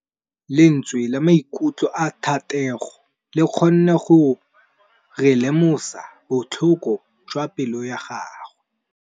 Lentswe la maikutlo a Thategô le kgonne gore re lemosa botlhoko jwa pelô ya gagwe.